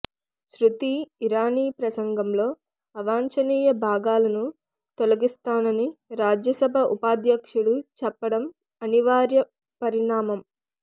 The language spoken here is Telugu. సృతి ఇరానీ ప్రసంగంలో అవాంచనీయ భాగాలను తొలగిస్తానని రాజ్యసభ ఉపాధ్యక్షుడు చెప్పడం అనివార్య పరిణామం